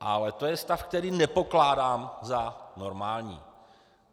Ale to je stav, který nepokládám za normální.